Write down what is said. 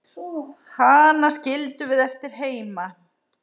Hana skildum við eftir heima.